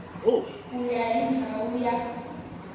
ku ya hi ndhawu ya